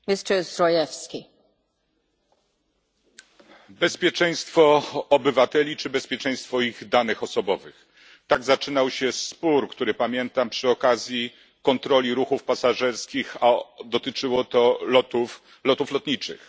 Pani Przewodnicząca! Bezpieczeństwo obywateli czy bezpieczeństwo ich danych osobowych tak zaczynał się spór, który pamiętam, przy okazji kontroli ruchów pasażerskich, a dotyczyło to lotów lotniczych.